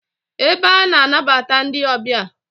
Ebe a na-anabata ndi obia